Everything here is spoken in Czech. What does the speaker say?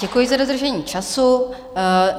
Děkuji za dodržení času.